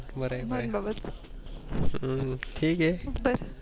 बर बरय अं ठीक ये